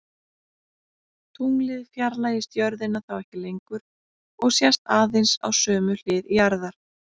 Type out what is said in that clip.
Tunglið fjarlægist jörðina þá ekki lengur og sést aðeins á sömu hlið jarðar.